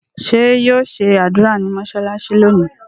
ṣe yíò ṣe ádùrá ní mọsalasi lónì?